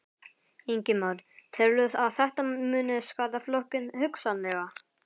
Ingimar: Telurðu að þetta muni skaða flokkinn, hugsanlega?